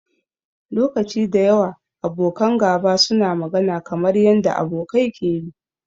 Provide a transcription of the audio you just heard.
Lokaci da yawa, abokan gaba suna magana kamar yanda abokai ke yi.